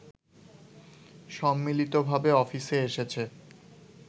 সম্মিলিতভাবে অফিসে এসেছে